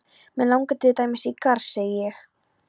Mig langar til dæmis í garð, segi ég.